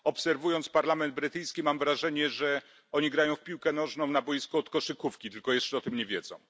Obserwując parlament brytyjski, mam wrażenie, że posłowie grają w piłkę nożną na boisku do koszykówki, tylko jeszcze o tym nie wiedzą.